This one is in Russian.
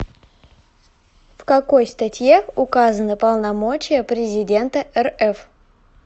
в какой статье указаны полномочия президента рф